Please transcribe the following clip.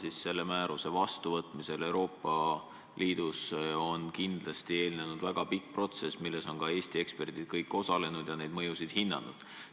Aga selle määruse vastuvõtmisele Euroopa Liidus on kindlasti eelnenud väga pikk protsess, milles on ka Eesti eksperdid osalenud ja neid mõjusid hinnanud.